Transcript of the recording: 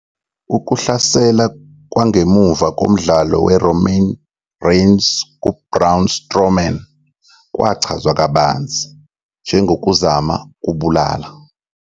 Ukuhlasela kwangemuva komdlalo kwe-Roman Reigns ku-Braun Strowman kwachazwa kabanzi njengokuzama ukubulala.